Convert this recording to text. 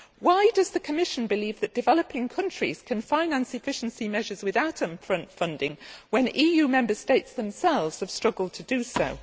Why does the Commission believe that developing countries can finance efficiency measures without upfront funding when EU Member States themselves have struggled to do so?